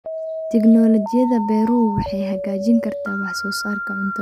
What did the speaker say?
Tignoolajiyada beeruhu waxay hagaajin kartaa wax soo saarka cuntada.